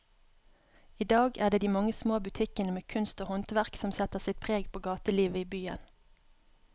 I dag er det de mange små butikkene med kunst og håndverk som setter sitt preg på gatelivet i byen.